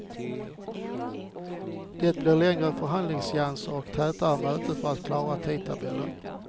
Det blir längre förhandlingsseanser och tätare möten för att klara tidtabellen.